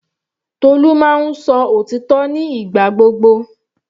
Tolu máa ń sọ òtítọ́ nígbà gbogbo.